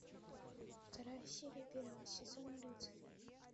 вторая серия первого сезона люцифер